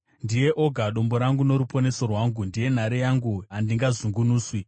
Ndiye oga dombo rangu noruponeso rwangu; ndiye nhare yangu, handingazungunuswi.